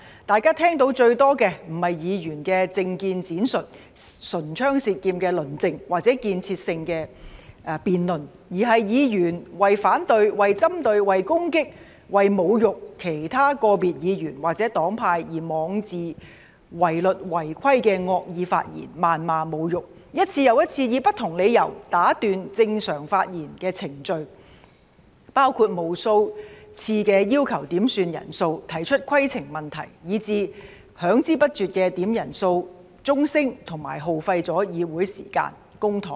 大家聽到最多的，不是議員的政見闡述、唇槍舌劍的論證，或者建設性的辯論，而是議員為反對、為針對、為攻擊、為侮辱其他個別議員或者黨派而妄自違律、違規的惡意發言、謾罵和侮辱，一次又一次以不同理由打斷正常的發言程序——包括無數次要求點算人數、提出規程問題——以至響之不絕的點算人數鐘聲，耗費議會的時間和公帑。